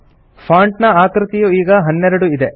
font ನ ಆಕೃತಿಯು ಈಗ 12 ಇದೆ